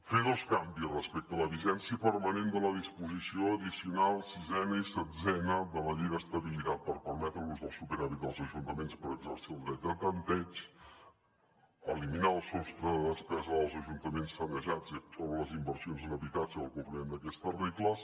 fer dos canvis respecte a la vigència permanent de la disposició addicional sisena i setzena de la llei d’estabilitat per permetre l’ús del superàvit dels ajuntaments per exercir el dret de tanteig eliminar el sostre de despesa dels ajuntaments sanejats i excloure les inversions en habitatge del compliment d’aquestes regles